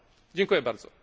Dziękuję bardzo.